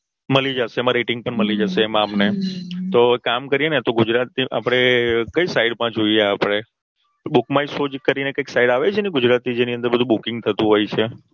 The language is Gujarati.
મળી જશે એમા Rating પણ મળી જશે એમાં અમને તો એક કામ કરીએને કઈ Site માં જોઈએ આપણે. Book My Show કરીને Site આવે છે ને ગુજરાતી જેની અંદર બધું Booking થતું હોય છે Theator નું Booking થતું